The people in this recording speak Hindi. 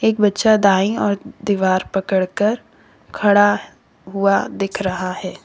बच्चा दाई और दीवार पड़कर खड़ा हुआ दिख रहा है।